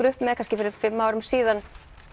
upp með kannski fyrir fimm árum síðan